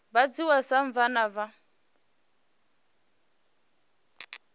vha dzhiwa sa vhana vha